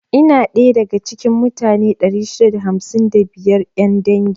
Ina daya da ga cikin mutane 655 'yan dangin.